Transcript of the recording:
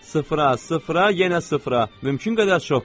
Sıfıra, sıfıra, yenə sıfıra, mümkün qədər çox qoy.